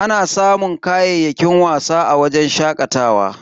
Ana samun kayayyakin wasa a wajen shakatawa.